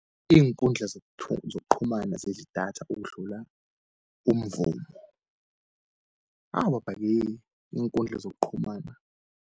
Iinkundla zokuqhumana zidla idatha ukudlula umvumo, awu baba-ke. Iinkundla zokuqhumana.